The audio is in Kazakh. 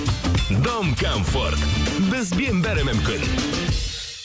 дом комфорт бізбен бәрі мүмкін